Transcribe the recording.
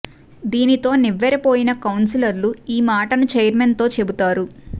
దీనితో నివ్వెర పోయిన కౌన్సిలర్లు ఈ మాటను ఛైర్మన్ తో చెబుతారు